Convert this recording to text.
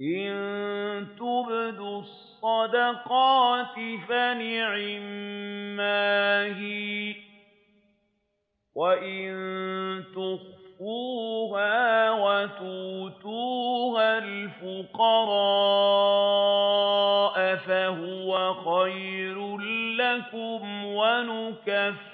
إِن تُبْدُوا الصَّدَقَاتِ فَنِعِمَّا هِيَ ۖ وَإِن تُخْفُوهَا وَتُؤْتُوهَا الْفُقَرَاءَ فَهُوَ خَيْرٌ لَّكُمْ ۚ وَيُكَفِّرُ